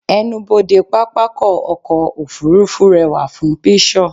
ẹnubodè pápákọ̀ ọ̀kọ òfurufú rewa fun pishur